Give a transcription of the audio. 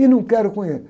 E não quero